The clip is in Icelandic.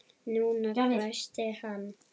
NÚNA! hvæsti hann.